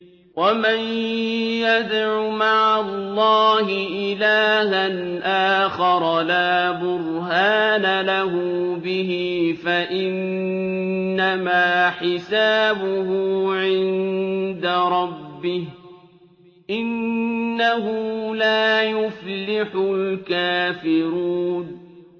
وَمَن يَدْعُ مَعَ اللَّهِ إِلَٰهًا آخَرَ لَا بُرْهَانَ لَهُ بِهِ فَإِنَّمَا حِسَابُهُ عِندَ رَبِّهِ ۚ إِنَّهُ لَا يُفْلِحُ الْكَافِرُونَ